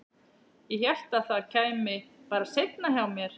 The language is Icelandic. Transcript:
Ég hélt að það kæmi bara seinna hjá mér.